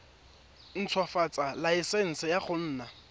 ntshwafatsa laesense ya go nna